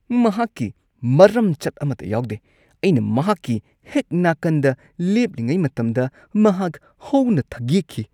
ꯃꯍꯥꯛꯀꯤ ꯃꯔꯝꯆꯠ ꯑꯃꯠꯇ ꯌꯥꯎꯗꯦ꯫ ꯑꯩꯅ ꯃꯍꯥꯛꯀꯤ ꯍꯦꯛ ꯅꯥꯀꯟꯗ ꯂꯦꯞꯂꯤꯉꯩ ꯃꯇꯝꯗ ꯃꯍꯥꯛ ꯍꯧꯅ ꯊꯒꯦꯛꯈꯤ꯫